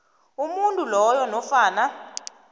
umuntu loyo nofana